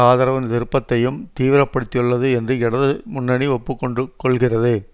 ஆதரவு திருப்பத்தையும் தீவிர படுத்தியுள்ளது என்று இடது முன்னணி ஒப்பு கொண்டு கொள்ளுகிறது